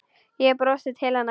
Ég brosi til hennar.